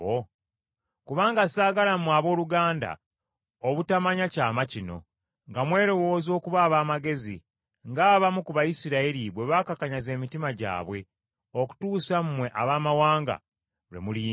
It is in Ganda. Kubanga ssaagala mmwe abooluganda obutamanya kyama kino nga mwelowooza okuba ab’amagezi, ng’abamu ku Bayisirayiri bwe baakakanyaza emitima gyabwe, okutuusa mmwe Abaamawanga, lwe muliyingira.